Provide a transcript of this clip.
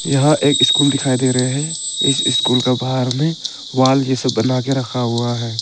यहां एक स्कूल दिखाई दे रहे हैं इस स्कूल का बाहर में वॉल जैसे बना के रखा हुआ है।